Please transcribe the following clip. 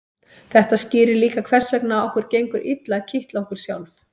þetta skýrir líka hvers vegna okkur gengur illa að kitla okkur sjálf